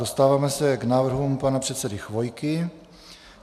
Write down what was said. Dostáváme se k návrhům pana předsedy Chvojky.